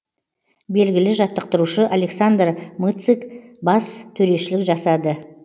белгілі жаттықтырушы александр мыцык бас төрешілік жасады